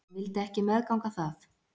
Hann vildi ekki meðganga það.